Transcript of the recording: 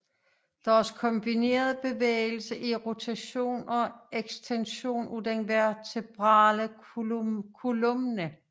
Deres kombinerede bevægelse er rotation og ekstension af den vertebrale columna